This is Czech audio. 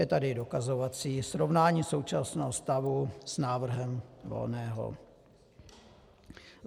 Je tady dokazovací srovnání současného stavu s návrhem Volného.